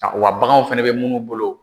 Wa baganw fɛnɛ be munnu bolo